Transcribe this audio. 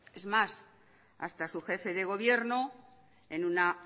es más hasta su jefe de gobierno en una